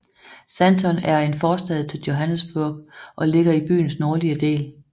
Sandton er en forstad til Johannesburg og ligger i byens nordlige del